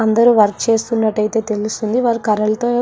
అందరూ వర్క్ చేస్తున్నటైతే తెలుస్తుంది వాళ్లు కర్రలతో --